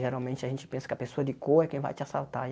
Geralmente a gente pensa que a pessoa de cor é quem vai te assaltar.